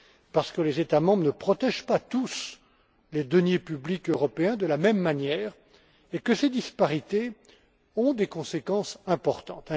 Parce que les États membres ne protègent pas, tous, les deniers publics européens de la même manière et que ces disparités ont des conséquences importantes.